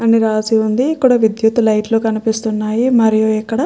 అని రాసి ఉంది ఇక్కడ విద్యుత్ లైట్లు కనిపిస్తున్నాయి మరియు ఇక్కడ --